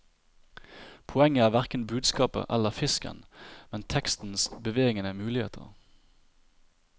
Poenget er hverken budskapet eller fisken, men tekstens bevegende muligheter.